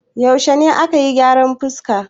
Yaushe ne ka yi gyaran fuska?